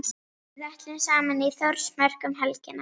Við ætlum saman í Þórsmörk um helgina.